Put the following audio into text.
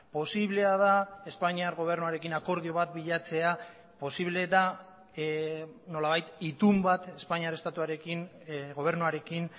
posiblea da espainiar gobernuarekin akordio bat bilatzea posible da nolabait itun bat espainiar estatuarekin gobernuarekin